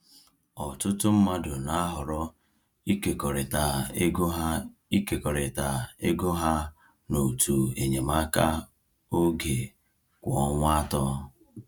Ọtụtụ mmadụ na-ahọrọ ịkekọrịta ego ha ịkekọrịta ego ha na òtù enyemaka oge kwa ọnwa atọ.